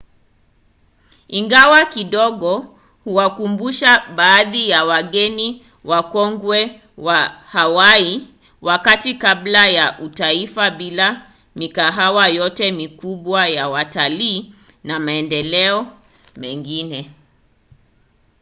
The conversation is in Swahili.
ingawa kidogo huwakumbusha baadhi ya wageni wakongwe wa hawaii wakati kabla ya utaifa bila mikahawa yote mikubwa ya watalii na maendeleo mengine